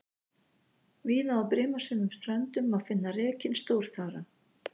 Víða á brimasömum ströndum má finna rekinn stórþara.